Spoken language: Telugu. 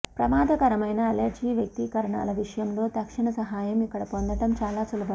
ప్రమాదకరమైన అలెర్జీ వ్యక్తీకరణల విషయంలో తక్షణ సహాయం ఇక్కడ పొందటం చాలా సులభం